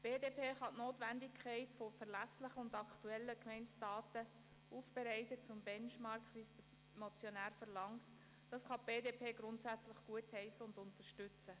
Die BDP kann die Notwendigkeit verlässlicher, aktueller und zum Benchmark aufbereiteter Gemeindedaten, wie es der Motionär verlangt, grundsätzlich gutheissen und unterstützen.